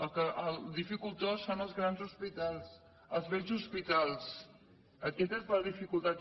el dificultós són els grans hospitals els vells hospitals aquesta és la dificultat